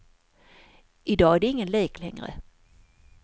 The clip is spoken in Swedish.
I dag är det ingen lek längre.